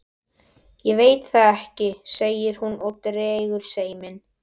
Ég veit það ekki, segir hún og dregur seiminn.